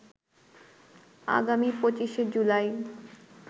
আগামী ২৫শে জুলাই